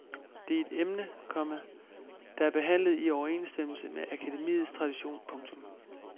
Det er et emne, komma der er behandlet i overensstemmelse med akademiets tradition. punktum